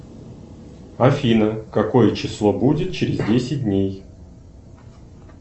афина какое число будет через десять дней